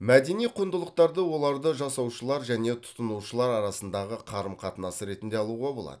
мәдени құндылықтарды оларды жасаушылар және тұтынушылар арасындағы қарым қатынас ретінде алуға болады